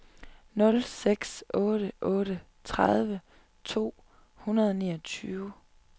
nul seks otte otte tredive to hundrede og niogtyve